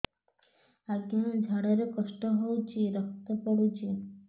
ଅଜ୍ଞା ଝାଡା ରେ କଷ୍ଟ ହଉଚି ରକ୍ତ ପଡୁଛି